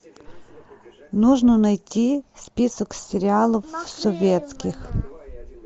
нужно найти список сериалов советских